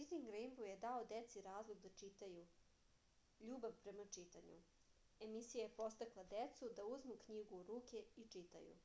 ридинг рејнбоу је дао деци разлог да читају ... љубав према читању - [емисија] је подстакла децу да узму књигу у руке и читају.